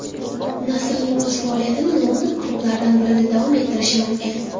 Nasrining o‘zi faoliyatini London klublaridan birida davom ettirishi mumkin.